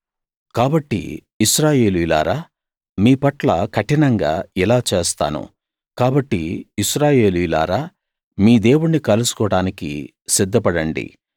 కాబట్టి ఇశ్రాయేలీయులారా మీపట్ల కఠినంగా ఇలా చేస్తాను కాబట్టి ఇశ్రాయేలీయులారా మీ దేవుణ్ణి కలుసుకోడానికి సిద్ధపడండి